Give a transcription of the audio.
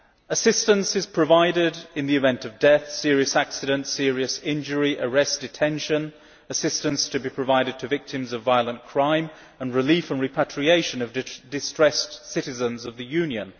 Assistance is provided in the event of death, serious accident, serious injury, arrest, detention, assistance to be provided to victims of violent crime, and relief and repatriation of distressed citizens of the Union.